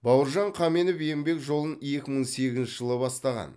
бауыржан қаменов еңбек жолын екі мың сегізінші жылы бастаған